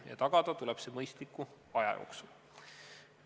Ja tagada tuleb see mõistliku aja jooksul.